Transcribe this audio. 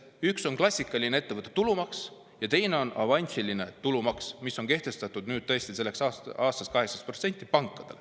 Üks on klassikaline ettevõtte tulumaks ja teine on avansiline tulumaks, mis on selleks aastaks pankadel tõesti 18%.